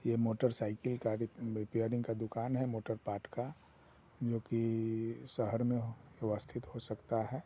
ये मोटरसाइकिल गाड़ी अ रिपेयरिंग का दुकान है मोटर पाट का जो कि शहर में हो व्यवस्थित हो सकता है।